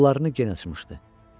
Qollarını gen açmışdı.